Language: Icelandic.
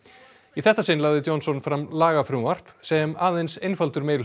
í þetta sinn lagði Johnson fram lagafrumvarp sem aðeins einfaldur